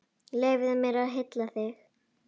Leyfðu mér að hylla þig.